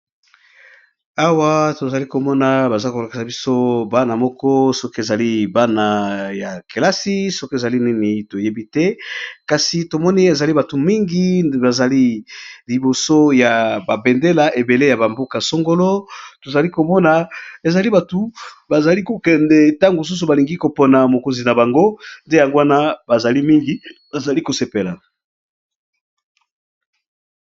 Awa tozali komona baza kolakisa biso bana moko soki ezali bana ya kelasi soki ezali nini toyebi te, kasi tomoni ezali batu mingi bazali liboso ya babendela ebele ya bamboka songolo, tozali komona ezali batu bazali kokende ntango mosusu balingi kopona mokonzi na bango, nde yango wana bazali mingi bazali kosepela.